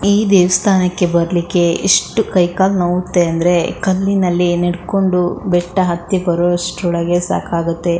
ಈ ದೇವ್ಸ್ಥಾನಕ್ಕೆ ಬರಲಿಕ್ಕೆ ಎಷ್ಟು ಕೈ ಕಾಲು ನೋವುತ್ತೆ ಅಂದರೆ ಕಲ್ಲಿನಲ್ಲಿ ನಡಕೊಂಡು ಬೆಟ್ಟ ಹತ್ತಿ ಬರೋವಷ್ಟರಲ್ಲಿ ಸಾಕಾಗುತ್ತೆ.